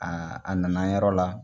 a na na yɔrɔ la.